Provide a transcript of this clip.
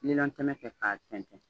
Nilɔn tɛmɛ kɛ k'a tɛntɛn